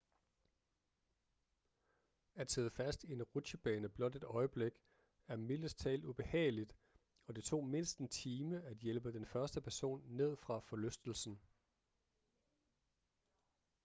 at sidde fast i en rutsjebane blot et øjeblik er mildest talt ubehageligt og det tog mindst en time at hjælpe den første person ned fra forlystelsen